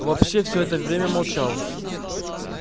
вообще всё это время молчал